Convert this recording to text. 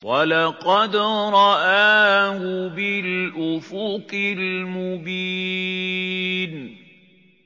وَلَقَدْ رَآهُ بِالْأُفُقِ الْمُبِينِ